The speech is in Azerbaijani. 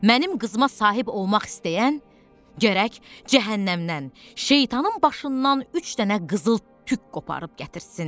Mənim qızıma sahib olmaq istəyən gərək cəhənnəmdən şeytanın başından üç dənə qızıl tük qoparıb gətirsin.